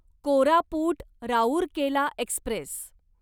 Koraput Rourkela Express